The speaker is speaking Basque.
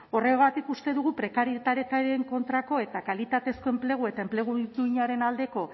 horregatik uste dugu prekarietatearen kontrako eta kalitatezko enplegua eta enplegu duinaren aldeko